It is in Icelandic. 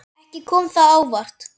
Ekki kom það á óvart.